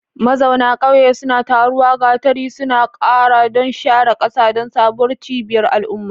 Mazauna ƙauye suna taruwa, gatari suna ƙara, don share ƙasa don sabuwar cibiyar al'umma.